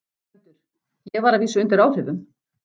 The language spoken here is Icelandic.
GVENDUR: Ég var að vísu undir áhrifum.